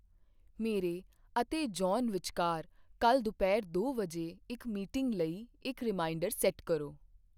ਮੇਰੇ ਅਤੇ ਜੌਨ ਵਿਚਕਾਰ ਕੱਲ੍ਹ ਦੁਪਹਿਰ ਦੋ ਵਜੇ ਇੱਕ ਮੀਟਿੰਗ ਲਈ ਇੱਕ ਰੀਮਾਈਂਡਰ ਸੈੱਟ ਕਰੋ।